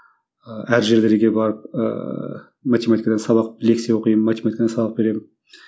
ыыы әр жерлерге барып ыыы математикадан сабақ лекция оқимын математикадан сабақ беремін